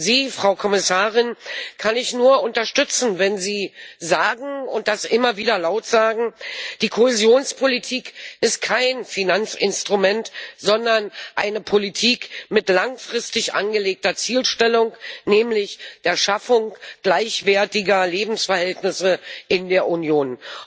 Sie, Frau Kommissarin, kann ich nur unterstützen, wenn Sie immer wieder laut sagen Die Kohäsionspolitik ist kein Finanzinstrument, sondern eine Politik mit langfristig angelegter Zielstellung, nämlich der Schaffung gleichwertiger Lebensverhältnisse in der Union.